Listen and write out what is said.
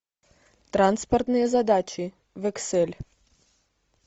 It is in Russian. транспортные задачи в эксель